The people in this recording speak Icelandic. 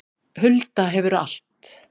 Hulda hefur allt